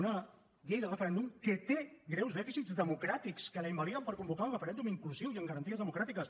una llei del referèndum que té greus dèficits democràtics que la invaliden per convocar un referèndum inclusiu i amb garanties democràtiques